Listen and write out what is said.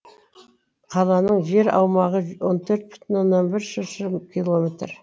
қаланың жер аумағы он төрт бүтін оннан бір шыршы километр